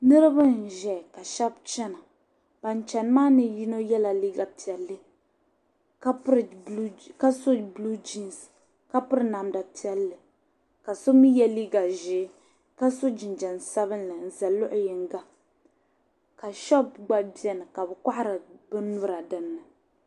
niriba n-zaya ka shɛba chana ban chani maa ni yino yɛla liiga piɛlli ka so buluu jiinsi ka piri namda piɛlli ka so mi ye liiga ʒee ka so jinjam sabilinli n-za luɣiyiŋga ka shɔpu gba beni ka bɛ kɔhiri binyura dinni